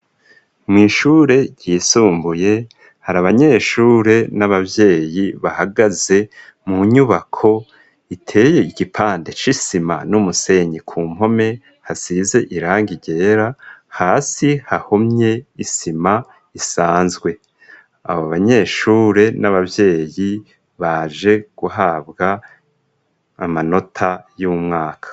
Mw'ishure, ryisumbuye, hari abanyeshure, n'abavyeyi, bahagaze mu nyubako, iteye igipande c'isima, n'umusenyi; ku mpome hasize irangi ryera, hasi hahomye isima isanzwe; abo banyeshure, n'ababyeyi, baje guhabwa amanota, y'umwaka.